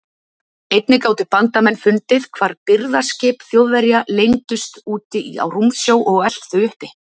Einnig gátu bandamenn fundið hvar birgðaskip Þjóðverja leyndust úti á rúmsjó og elt þau uppi.